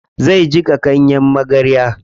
Zai jiƙa ganyen magarya.